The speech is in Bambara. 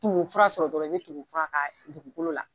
Tumu fara sɔrɔ dɔrɔn , i be tumu fara k'a dugukolo la.